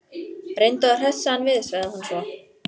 Reyndu að hressa hann við sagði hún svo.